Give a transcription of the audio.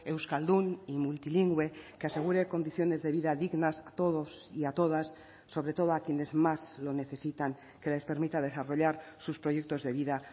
euskaldun y multilingüe que asegure condiciones de vida dignas a todos y a todas sobre todo a quienes más lo necesitan que les permita desarrollar sus proyectos de vida